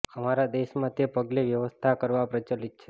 અમારા દેશ માં તે પગલે વ્યવસ્થા કરવા પ્રચલિત છે